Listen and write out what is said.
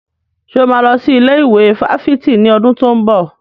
Ṣé o máa lọ sí ilé ìwé fáfitì ní ọdún tó ń bọ̀?